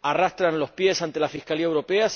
arrastran los pies ante la Fiscalía Europea.